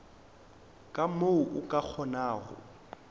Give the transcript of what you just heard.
ka mo o ka kgonago